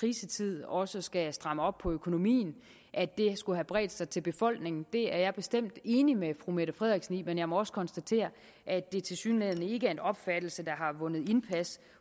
krisetid også skal stramme op på økonomien skulle have bredt sig til befolkningen det er jeg bestemt enig med fru mette frederiksen i men jeg må også konstatere at det tilsyneladende ikke er en opfattelse der har vundet indpas